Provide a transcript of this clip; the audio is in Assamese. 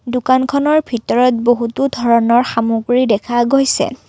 দোকানখনৰ ভিতৰত বহুতো ধৰণৰ সামগ্ৰী দেখা গৈছে।